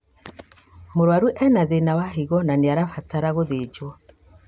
Mũrwaru ena thĩna wa higo na nĩarabatara gũthĩjwo